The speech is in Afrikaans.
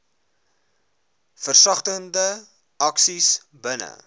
versagtende aksies binne